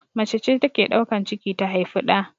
Macece take daukan ciki ta haufi ɗa